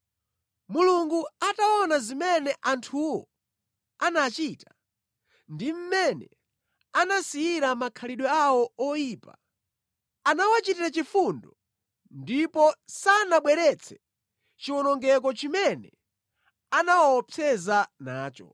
Mulungu ataona zimene anthuwo anachita, ndi mmene anasiyira makhalidwe awo oyipa, anawachitira chifundo ndipo sanabweretse chiwonongeko chimene anawaopseza nacho.